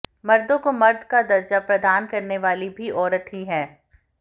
मर्दों को मर्द का दर्जा प्रदान करने वाली भी औरत ही है